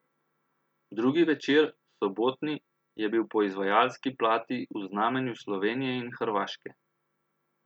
Drugi večer, sobotni, je bil po izvajalski plati v znamenju Slovenije in Hrvaške.